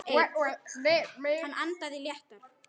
Hann andaði léttar.